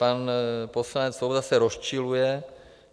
Pan poslanec Svoboda se rozčiluje.